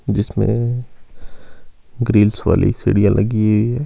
जिसमें ग्रिल्स वाली सीढ़ियां लगी है।